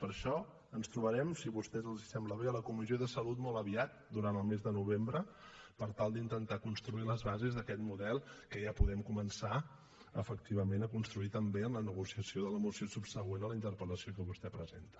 per això ens trobarem si a vostès els sembla bé a la comissió de salut molt aviat durant el mes de novembre per tal d’intentar construir les bases d’aquest model que ja podem començar efectivament a construir també en la negociació de la moció subsegüent a la interpel·lació que vostè presenta